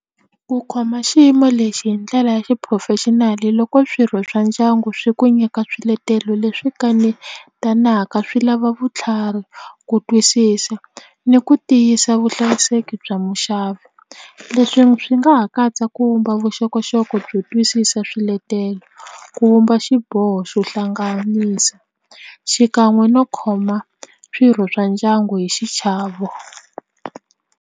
Ku khoma xiyimo lexi hi ndlela ya xi professional loko swirho swa ndyangu swi ku nyika swiletelo leswi kanetaka swi lava vutlhari ku twisisa ni ku tiyisa vuhlayiseki bya muxavi leswi swi nga ha katsa ku vumba vuxokoxoko byo twisisa swiletelo ku vumba xiboho xo hlanganisa xikan'we no khoma swirho swa ndyangu hi xichavo.